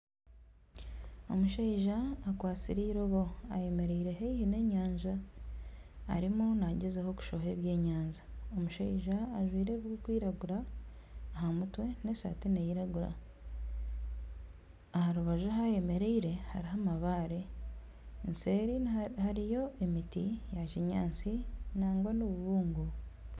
Omushaija akwastire irobo ayemereire haihi nenyanja arimu nagyezaho kushoha obwenyanja. Omushija ajwire ebirikwiragura aha mutwe, n'esaati neyiragura. Aha rubaju ahi ayemereire hariho amabaare. Eseeri hariyo emiti ya kinyaatsi nangwa n'obubuungo.